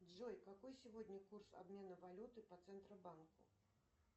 джой какой сегодня курс обмена валюты по центробанку